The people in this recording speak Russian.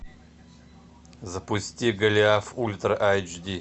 запусти голиаф ультра айч ди